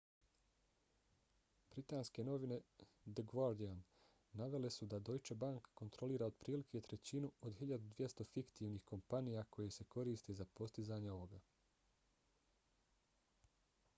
britanske novine the guardian navele su da deutsche bank kontrolira otprilike trećinu od 1200 fiktivnih kompanija koje se koriste za postizanje ovoga